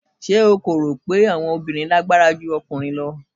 Ṣé o kò rò pé àwọn obìnrin lágbára ju ọkùnrin lọ?